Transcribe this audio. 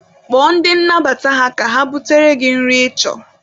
Kpọọ ndị nnabata ha ka ha butere gị nri ị chọrọ.